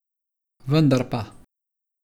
Vendar pa...